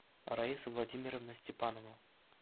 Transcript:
раиса владимировна степанова